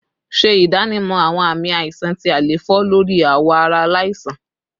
Ṣe idanimọ awọn aami aisan ti àléfọ lori awọ ara alaisan